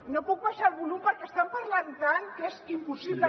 no puc baixar el volum perquè estan parlant tant que és impossible